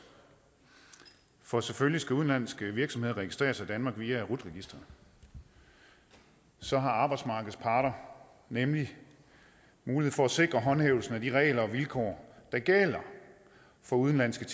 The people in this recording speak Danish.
for selvfølgelig skal udenlandske virksomheder registreres i danmark via rut registeret så har arbejdsmarkedets parter nemlig mulighed for at sikre håndhævelsen af de regler og vilkår der gælder for udenlandske